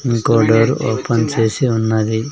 ఇంకో door open చేసి ఉన్నది.